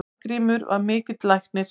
Arngrímur var mikill læknir.